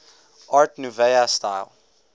art nouveau style